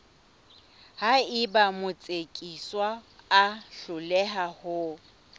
haeba motsekiswa a hloleha ho